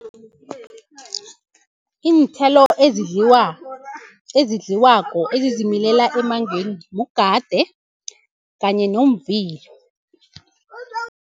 Iinthelo ezidliwako, ezizimilela emangweni mugade kanye ngomvilo.